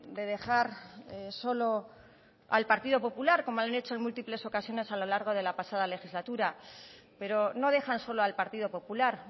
de dejar solo al partido popular como han hecho en múltiples ocasiones a lo largo de la pasada legislatura pero no dejan solo al partido popular